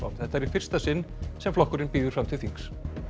þetta er í fyrsta sinn sem flokkurinn býður fram til þings